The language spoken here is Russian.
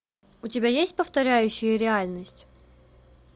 у тебя есть повторяющие реальность